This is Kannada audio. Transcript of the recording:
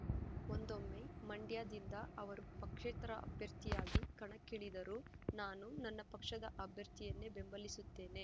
ಒಂದೊಮ್ಮೆ ಮಂಡ್ಯದಿಂದ ಅವರು ಪಕ್ಷೇತರ ಅಭ್ಯರ್ಥಿಯಾಗಿ ಕಣಕ್ಕಿಳಿದರೂ ನಾನು ನನ್ನ ಪಕ್ಷದ ಅಭ್ಯರ್ಥಿಯನ್ನೇ ಬೆಂಬಲಿಸುತ್ತೇನೆ